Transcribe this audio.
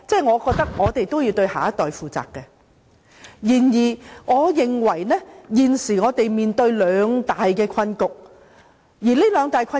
我覺得我們也要對下一代負責，然而，我認為現時我們面對兩大困局，而這兩大困局......